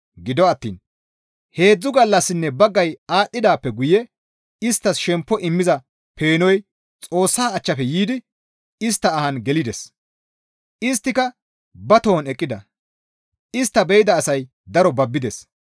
Gido attiin heedzdzu gallassinne baggay aadhdhidaappe guye isttas shemppo immiza peenoy Xoossa achchafe yiidi istta ahan gelides; isttika ba tohon eqqida; istta be7ida asay daro babbides.